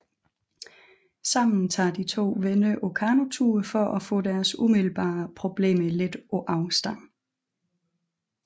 Sammen tager de to venner på kanotur for at få deres umiddelbare problemer lidt på afstand